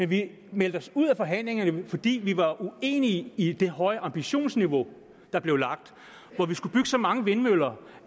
vi meldte os ud af forhandlingerne fordi vi var uenige i det høje ambitionsniveau der blev lagt og hvor der skulle bygges så mange vindmøller